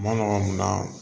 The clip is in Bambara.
Ma na